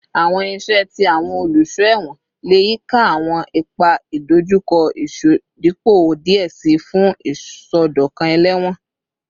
Awọn iṣẹ ti awọn oluṣọ ẹwọn le yika awọn ipa idojukọ isodipupo diẹ sii fun isọdọkan ẹlẹwọn